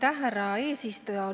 Aitäh, härra eesistuja!